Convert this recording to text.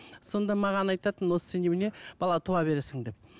сонда маған айтатын осы сен немене бала туа бересің деп